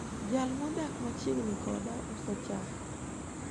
jal modak machiegni koda uso chak